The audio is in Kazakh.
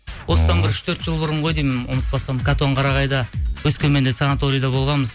осыдан бір үш төрт жыл бұрын ғой деймін ұмытпасам қатонқарағайда өскеменде санаторияда болғанбыз